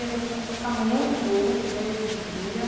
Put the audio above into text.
E a gente começou a ficar muito junto desde desse dia.